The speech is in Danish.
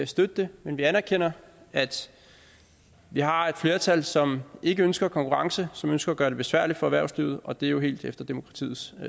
støtte det men vi anerkender at vi har et flertal som ikke ønsker konkurrence som ønsker at gøre det besværligt for erhvervslivet og det er jo helt efter demokratiets